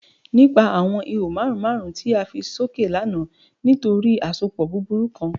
Nipa awọn iho marun marun ti fẹ soke lana nitori asopọ buburu kan